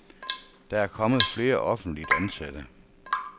Der er kommet flere offentligt ansatte.